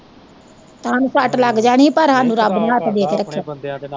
ਹਾਨੂੰ ਸੱਟ ਲੱਗ ਜਣੀ ਹੀ ਪਰ ਹਾਨੂੰ ਰੱਬ ਨੇ ਹੱਥ ਦੇ ਕੇ ਰੱਖਿਆ।